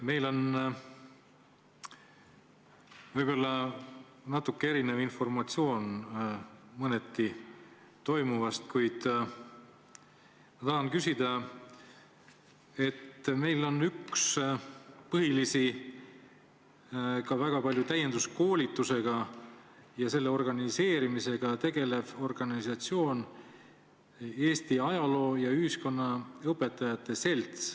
Meil on võib-olla toimuvast mõneti erinev informatsioon, kuid ma tahan küsida selle kohta, et meil on üks põhilisi täienduskoolituste organiseerimisega tegelevaid organisatsioone Eesti Ajaloo- ja Ühiskonnaõpetajate Selts.